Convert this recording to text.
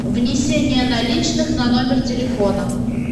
внесение наличных на номер телефона